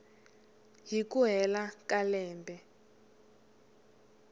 hi ku hela ka lembe